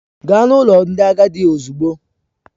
Gaa n'ụlọ ndị agadi ozugbo!